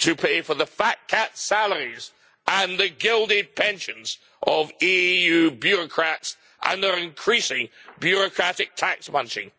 to pay for the fat cat salaries and the gilded pensions of EU bureaucrats, under increasing bureaucratic tax bunching.